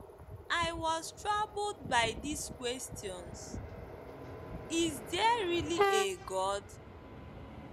I was troubled by these questions, Is there really a God?